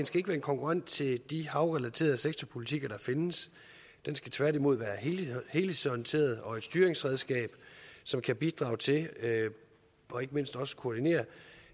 skal være en konkurrent til de havrelaterede sektorpolitikker der findes den skal tværtimod være helhedsorienteret og et styringsredskab som kan bidrage til og ikke mindst også koordinere